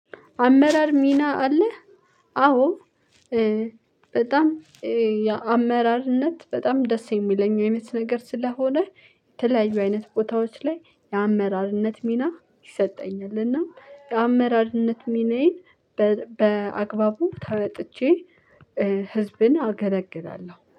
አመራር ሚና አለህ? አዎ በጣም የአመራርነት በጣም ደስ የሚለኝ አይነት ነገር ስለሆነ። የተለያዩ አይነት ቦታዎች ላይ የአመራርነት ሚና ይሰጠኛል። እና የአመራርነት ሚናዬን በአግባቡ ተወጥቼ ህዝብን አገለግላለሁ